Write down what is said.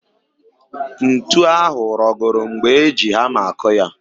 Ntu ahụ rọgọrọ mgbe e ji hama akụ ya